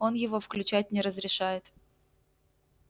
он его включать не разрешает